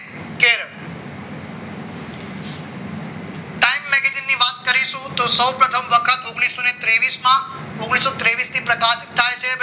સૌપ્રથમ વખત ઓગણીસો તેવીસ માં ઓગણીસો તેવીસ થી